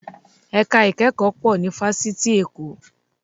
Ẹ̀ka ìkẹ́kọ̀ọ́ pọ̀ ní Fáṣítì Èkó